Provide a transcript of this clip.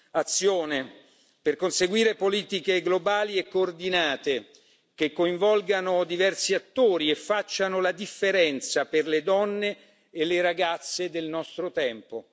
Azione per conseguire politiche globali e coordinate, che coinvolgano diversi attori e facciano la differenza per le donne e le ragazze del nostro tempo.